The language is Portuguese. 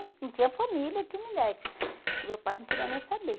Não tinha família que me desse, que meu pai não queria nem saber.